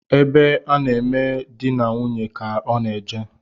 Ebe a na-eme dị na nwunye ka ọ na eje